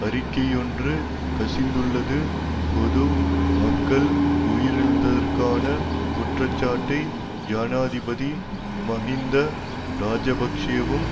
அறிக்கையொன்று கசிந்துள்ளது பொது மக்கள் உயிரிழந்ததற்கான குற்றச்சாட்டை ஜனாதிபதி மஹிந்த இராஜபக்ஷவும்